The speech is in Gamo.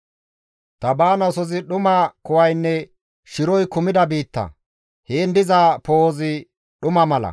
Ta baanaasozi dhuma kuwaynne shiroy kumida biitta; heen diza poo7ozi dhuma mala.»